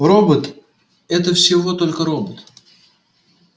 робот это всего только робот